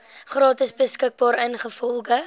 gratis beskikbaar ingevolge